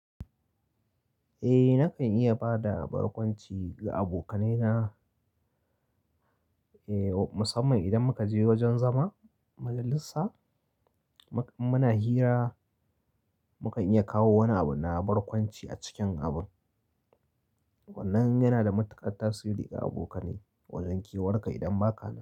Eh nakan iya bada barkwanci ga abokanaina, musamman idan muka je wajen zama, mujalisa, muna hira, mu kan iya kawo wani abu na barkwanci a cikin abun. Wannan yana da matuƙar tasiri ga abokane wajen kewarka idan ba ka nan.